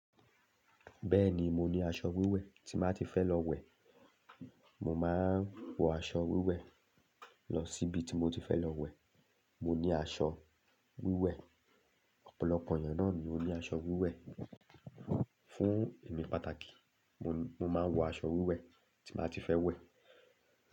Bẹ́ẹ̀ni mo ní aṣọ wíwẹ̀, tí n bá ti fẹ́ lọ wẹ̀, mo máa ń wọ aṣọ wíwẹ̀ lọ síbi tí mo ti fẹ́ lọ wẹ̀. Mo ní aṣọ wíwẹ̀, ọ̀pọ̀lọpọ̀ èeyan náà ni ó ní aṣọ wíwẹ̀. Fún èmi pàtàkì, mo máa ń wọ aṣọ wíwẹ̀ tí n ba ti fẹ́ wẹ̀.